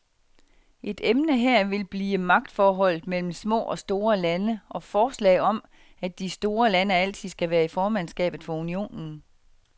Et emne her vil blive magtforholdet mellem små og store lande og forslag om, at de store lande altid skal være i formandskabet for unionen.